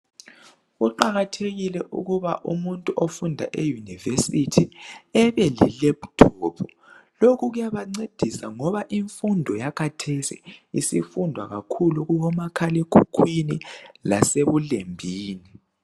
Kuqakathekile ukuthi umuntu oyabe efunda e-university, abele laptop. Lokhu kuyabancedusa, ngoba mfundo yakhathesi isifundwa kakhulu, kubomakhalekhukhwini. Lasebulenjini.